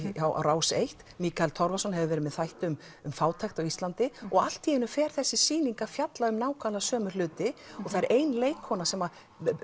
á Rás eins Mikael Torfason hefur verið með þætti um um fátækt á Íslandi og allt í einu fer þessi sýning að fjalla um nákvæmlega sömu hluti og það er ein leikkona sem